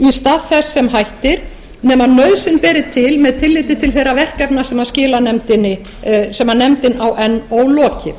stað þess sem hættir nema nauðsyn beri til með tilliti til þeirra verkefna sem nefndin á enn ólokið